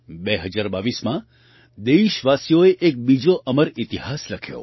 2022માં દેશવાસીઓએ એક બીજો અમર ઇતિહાસ લખ્યો